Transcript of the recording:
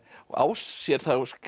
og á sér